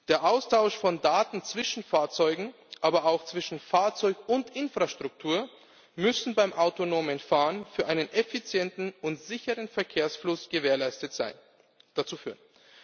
Der Austausch von Daten zwischen Fahrzeugen, aber auch zwischen Fahrzeug und Infrastruktur muss beim autonomen Fahren zu einem effizienten und sicheren Verkehrsfluss führen.